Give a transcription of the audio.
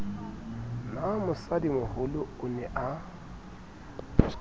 na mosadimoholo o ne a